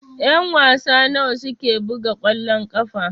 Ƴan-wasa nawa suke buga kwallon ƙafa?